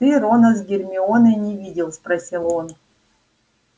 ты рона с гермионой не видел спросил он